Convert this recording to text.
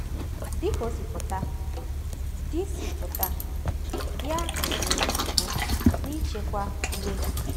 Dị ka o si pụta, di si pụta, di ahụ nwere nsogbu n’ịchịkwa iwe ya.